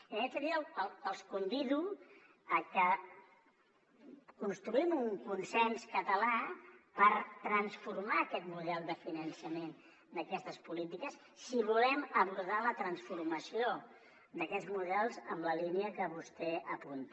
en aquest sentit els convido a que construïm un consens català per transformar aquest model de finançament d’aquestes polítiques si volem abordar la transformació d’aquests models en la línia que vostè apunta